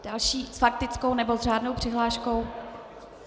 Další s faktickou nebo s řádnou přihláškou?